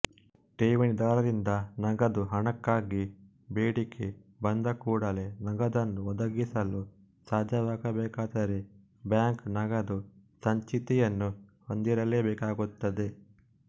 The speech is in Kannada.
ಠೇವಣಿದಾರರಿಂದ ನಗದು ಹಣಕ್ಕಾಗಿ ಬೇಡಿಕೆ ಬಂದಕೂಡಲೆ ನಗದನ್ನು ಒದಗಿಸಲು ಸಾಧ್ಯವಾಗಬೇಕಾದರೆ ಬ್ಯಾಂಕು ನಗದು ಸಂಚಿತಿಯನ್ನು ಹೊಂದಿರಲೇಬೇಕಾಗುತ್ತದೆ